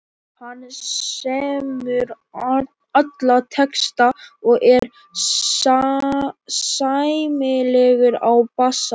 Hann semur alla texta og er sæmilegur á bassa.